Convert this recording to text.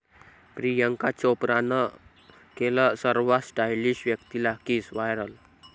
प्रियांका चोप्रानं केलं सर्वात स्टाइलिश व्यक्तीला किस, व्हायरल